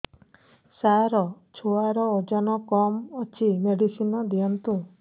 ସାର ଛୁଆର ଓଜନ କମ ଅଛି ମେଡିସିନ ଦିଅନ୍ତୁ